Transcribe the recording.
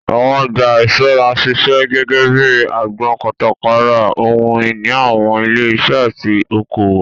Àwọn ọjà ìṣúra ń ṣiṣẹ́ gẹ́gẹ́ bíi agbọn kátàkárà ohun ìní àwọn ilé iṣẹ́ àti oko òwò.